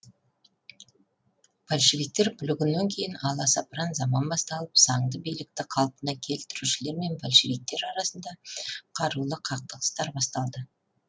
большевиктер бүлігінен кейін аласапыран заман басталып заңды билікті қалпына келтірушілер мен большевиктер арасында қарулы қақтығыстар басталды